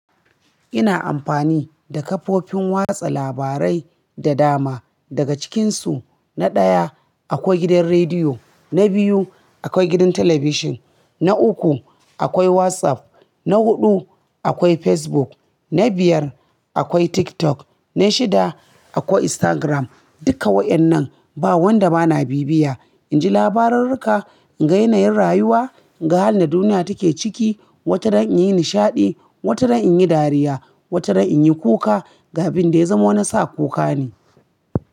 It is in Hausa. Ina amfani da kafofin watsa labarai da dama. Daga cikinsu, na ɗaya akwai gidan rediyo, na biyu akwai gidan talabijin, na uku akwai WhatsApp, na huɗu akwai Facebook, na biyar akwai TikTok, na shida akwai Instagram. Duka wa'yannan ba wanda bana bibiya. In ji labarurruka, in ga yanayin rayuwa, in ga halin da duniya take ciki. Wata ran in yi nishaɗi, wata ran in yi dariya, wata ran in yi kuka. Ga bin da ya zama wani sa kuka ne.